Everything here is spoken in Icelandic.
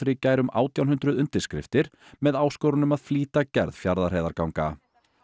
í gær um átján hundruð undirskriftir með áskorun um að flýta gerð Fjarðarheiðarganga